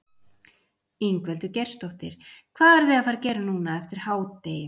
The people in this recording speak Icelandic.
Ingveldur Geirsdóttir: Hvað eruð þið að fara gera núna eftir hádegi?